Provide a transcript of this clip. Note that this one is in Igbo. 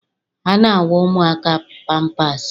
A na-awa ụmụaka pampaasị.